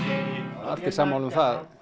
allir sammála um það